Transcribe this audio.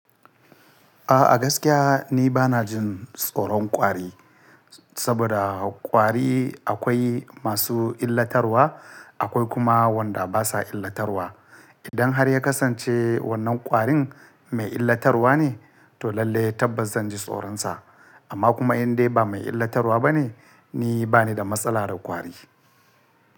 A'a gaskiya ni bana jin tsoron kwari, saboda kwari akwai masu illatarwa akwai kuma wanda basa illatarwa. Idan har ya kasance wannan kwarin mai illatarwa ne to lallai tabbas zanji tsoronsa, amma kuma in dai ba mai illatarwa bane ni bani da matsala da kwari.